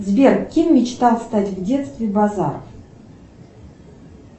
сбер кем мечтал стать в детстве базаров